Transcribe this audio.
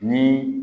Ni